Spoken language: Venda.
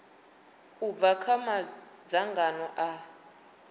u bva kha madzangano a